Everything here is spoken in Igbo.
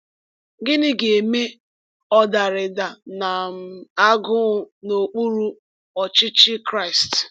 Gịnị ga-eme ọdarida na um agụụ n’okpuru ọchịchị Kraịst?